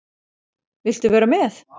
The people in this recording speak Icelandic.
Viltu vera með?